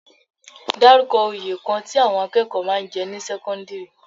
Dárúkọ oyè kan tí àwọn akẹ́kọ̀ọ́ máa ń jẹ ní sẹ́kọ́ńdírì?